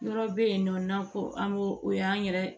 Yɔrɔ bɛ yen nɔ n'an ko an ko o y'an yɛrɛ